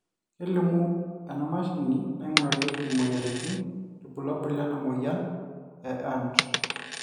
kelimu emashini naingurarieki imoyiaritin irbulabol lena moyian e and